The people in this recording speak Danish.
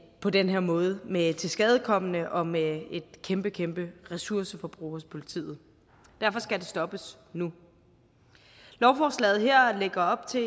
på denne måde med tilskadekomne og med et kæmpe kæmpe ressourceforbrug hos politiet derfor skal det stoppes nu lovforslaget her lægger op til